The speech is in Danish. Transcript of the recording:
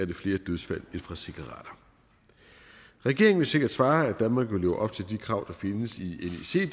det flere dødsfald end fra cigaretter regeringen vil sikkert svare at danmark vil leve op til de krav der findes i